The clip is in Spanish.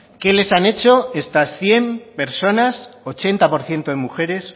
qué les han hecho estas cien personas ochenta por ciento de mujeres